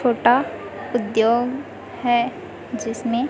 छोटा उद्योग है जिसमें--